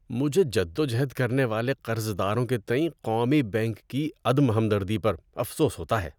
مجھے جد و جہد کرنے والے قرضداروں کے تئیں قومی بینک کی عدم ہمدردی پر افسوس ہوتا ہے۔